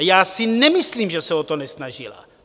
A já si nemyslím, že se o to nesnažila.